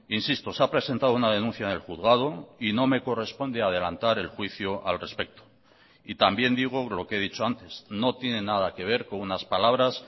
insisto se ha presentado una denuncia en el juzgado y no me corresponde adelantar el juicio al respecto y también digo lo que he dicho antes no tiene nada que ver con unas palabras